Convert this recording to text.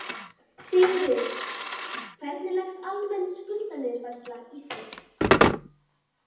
Sigríður: Hvernig leggst almenn skuldaniðurfærsla í þig?